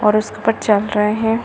और उसके ऊपर चल रहे हैं।